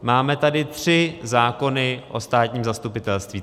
Máme tady tři zákony o státním zastupitelství.